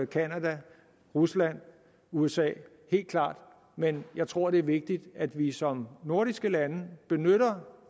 canada rusland usa helt klart men jeg tror det er vigtigt at vi som nordiske lande benytter